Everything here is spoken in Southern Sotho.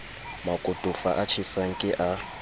makotofa a tjhesang ke a